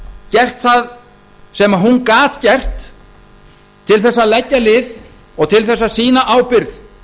gert það sem hún gat gert til þess að leggja lið og til þess að sýna ábyrgð